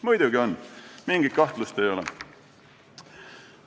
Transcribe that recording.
Muidugi on, mingit kahtlust ei ole.